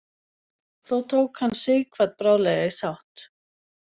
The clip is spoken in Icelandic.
Þó tók hann Sighvat bráðlega í sátt.